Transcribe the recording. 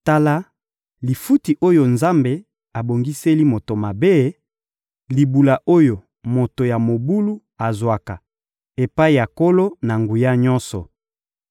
Tala lifuti oyo Nzambe abongiseli moto mabe, libula oyo moto ya mobulu azwaka epai ya Nkolo-Na-Nguya-Nyonso: